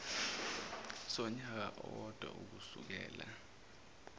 sonyaka owodwa ukusukela